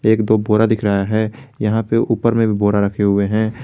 एक दो बोरा दिख रहा है यहां पे ऊपर में भी बोरा रखे हुए हैं।